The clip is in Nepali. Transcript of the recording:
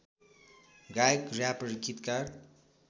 गायक र्‍यापर गीतकार